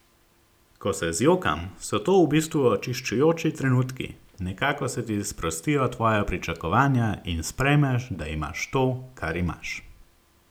Ko se zjokam, so to v bistvu očiščujoči trenutki, nekako se ti sprostijo tvoja pričakovanja in sprejmeš, da imaš to, kar imaš.